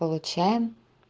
получаем